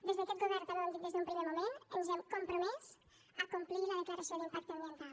des d’aquest govern també ho hem dit des d’un primer moment ens hem compromès a complir la declaració d’impacte ambiental